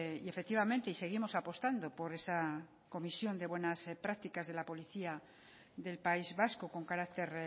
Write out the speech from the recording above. y efectivamente y seguimos apostando por esa comisión de buenas prácticas de la policía del país vasco con carácter